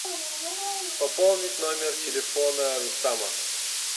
пополнить номер телефона рустама